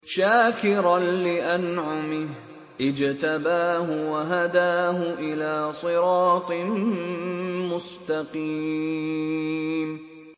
شَاكِرًا لِّأَنْعُمِهِ ۚ اجْتَبَاهُ وَهَدَاهُ إِلَىٰ صِرَاطٍ مُّسْتَقِيمٍ